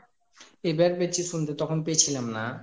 আবার পেয়েছি শুনতে তখন শুনতে পেয়েছিলাম না